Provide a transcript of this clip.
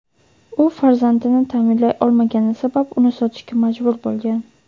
u farzandini ta’minlay olmagani sabab uni sotishga majbur bo‘lgan.